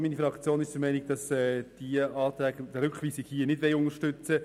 Auch meine Fraktion will diese Anträge nicht unterstützen.